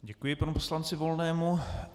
Děkuji panu poslanci Volnému.